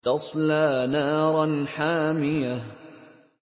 تَصْلَىٰ نَارًا حَامِيَةً